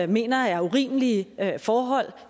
mener er urimelige forhold